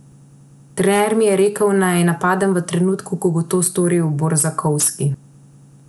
Trener mi je rekel, naj napadem v trenutku, ko bo to storil Borzakovski.